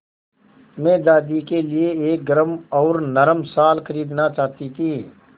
मैं दादी के लिए एक गरम और नरम शाल खरीदना चाहती थी